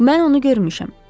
Mən onu görmüşəm.